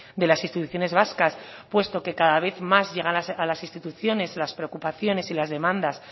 de las instituciones vascas puesto que cada vez más llegan a las instituciones las preocupaciones y las demandas